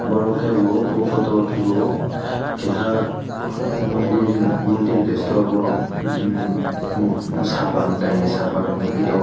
oro ke bo o photo o kebo keha mandir mandir de sido obo mokti sapan taini sapa nogphi tongo.